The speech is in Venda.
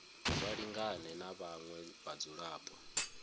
vha lingane na vhaṅwe vhadzulapo